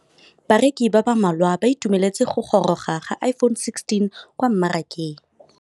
Bareki ba ba malwa ba ituemeletse go gôrôga ga Iphone6 kwa mmarakeng.